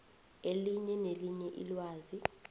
elinye nelinye ilwazi